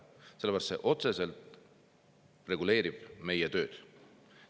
Sellepärast et see otseselt reguleerib meie tööd.